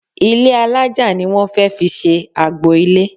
Ilé alájà ni wón fẹ́ fi ṣe agbo-ilé.